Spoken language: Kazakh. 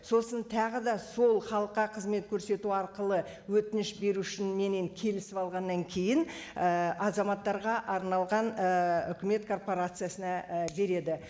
сосын тағы да сол халыққа қызмет көрсету арқылы өтініш беру үшін менімен келісіп алғаннан кейін ііі азаматтарға арналған ііі үкімет корпорациясына і береді